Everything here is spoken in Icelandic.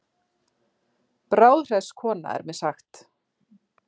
Bráðhress kona er mér sagt.